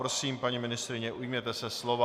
Prosím, paní ministryně, ujměte se slova.